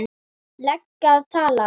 lega að tala?